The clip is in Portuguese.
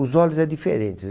Os olhos é diferentes.